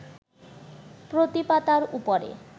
প্রতি পাতার ওপরে